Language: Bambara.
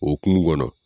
Okumu kɔnɔ